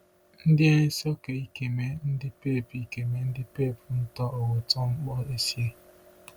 Ndien nso ke ikeme ndikpep ikeme ndikpep nto uwụtn̄kpọ esie?